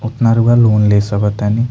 उतना रउवा लोन ले सके तानी।